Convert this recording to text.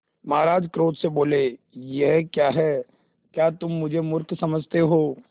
महाराज क्रोध से बोले यह क्या है क्या तुम मुझे मुर्ख समझते हो